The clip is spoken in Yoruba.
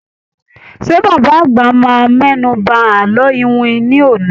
Ṣé bàbá àgbà máa mẹ́nu ba àlọ́ iwin ní òní?